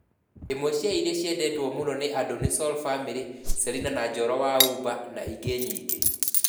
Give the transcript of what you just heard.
ĩmwe cia iria ciendetwo mũno nĩ andũ nĩ sol family, Selina na Njoro wa Uba na ingĩ nyingĩ.